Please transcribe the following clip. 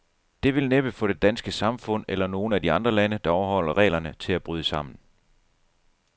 Det vil næppe få det danske samfund, eller nogen af de andre lande, der overholder reglerne, til at bryde sammen.